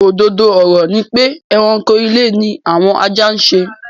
Òdodo ọ̀rọ̀ ni pé ẹranko ilé ni àwọn ajá ń ṣe.